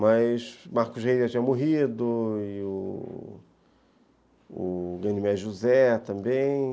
Mas Marcos Reis já tinha morrido, e o o Guilherme José também...